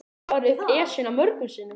Ég hef farið upp Esjuna mörgum sinnum.